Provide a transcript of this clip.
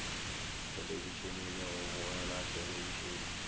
thelebišene le go bogela thelebišene